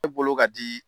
Ne bolo ka di